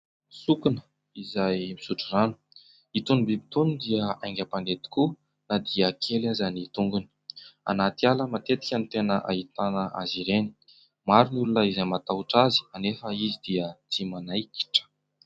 Sokona izay misotro rano. Itony bibitony dia haingam-pandeha tokoa na dia kely aza ny tongony. Anaty ala matetika ny tena ahitana azy ireny maro ny olona izay matahotra azy kanefa izy dia tsy manaikitra.